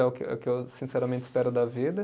É o que, é o que eu sinceramente espero da vida.